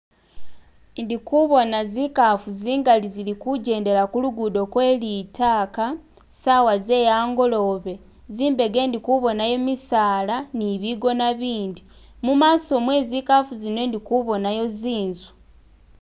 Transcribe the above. Ndikubona zinkafu zingali zilikujendela kulugudo kwe litaka sawa zeyangolobe. Zimbega indikubonayo jimisala nibigona ibindi. Mumaso mwe zinkafu muno indikubonamo zinzu